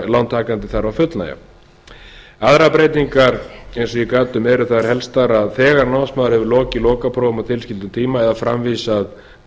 lántakandi þarf að fullnægja aðrar breytingar eins og ég gat um eru þær helstar að þegar námsmaður hefur lokið lokaprófum á tilskildum tíma eða framvísað